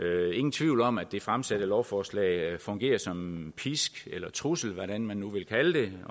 tvivl om at det fremsatte lovforslag fungerer som pisk eller trussel hvad man nu vil kalde det